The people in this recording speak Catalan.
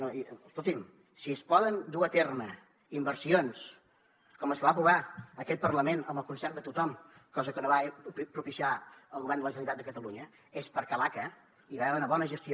escolti’m si es poden dur a terme inversions com les que va aprovar aquest parlament amb el concert de tothom cosa que no va propiciar el govern de la generalitat de catalunya és perquè a l’aca hi va haver una bona gestió